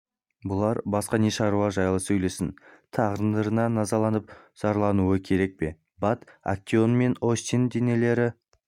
бұлар басқа не шаруа жайлы сөйлессін тағдырына назаланып зарлануы керек пе бат актеон мен остин денелері